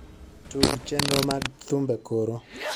tug chenro mag thumbe koro